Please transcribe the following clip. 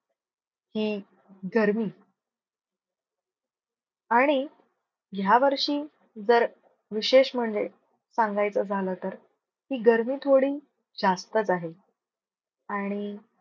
ही गर्मी आणि ह्या वर्षी जर, विशेष म्हणजे सांगायचं झाल तर, ही गर्मी थोडी जास्तच आहे आणि